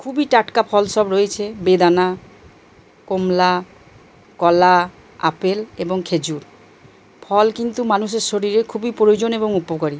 খুবই টাটকা ফল সব রয়েছে। বেদনা কমলা কলা আপেল এবং খেজুর। ফল কিন্তু মানুষের শরীরে খুবই প্রয়োজন এবং উপকারী।